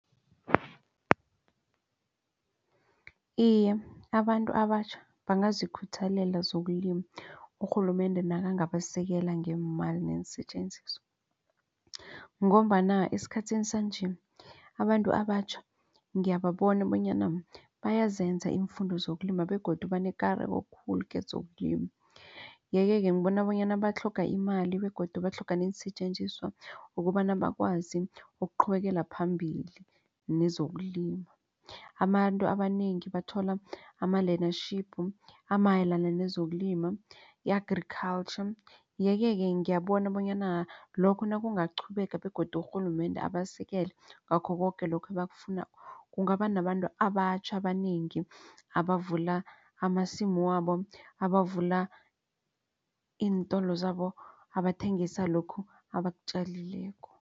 Iye, abantu abatjha bangazikhuthalela zokulima urhulumende nakangabasekela ngeemali neensetjenziswa. Ngombana esikhathini sanje abantu abatjha ngiyababona bonyana bayazenza iimfundo zokulima begodu banekareko khulu kezokulima. Yeke-ke ngibona bonyana batlhoga imali begodu batlhoga neensetjenziswa ukobana bakwazi ukuqhubekela phambili nezokulima. Abantu abanengi bathola ama-learnership amayelana nezokulima i-Agriculture. Yeke-ke ngiyabona bonyana lokho nakungaqhubeka begodu urhulumende abasekele ngakho koke lokhu ebakufunako kungaba nabantu abatjha abanengi abavula amasimu wabo, abavula iintolo zabo abathengisa lokhu abakutjalileko.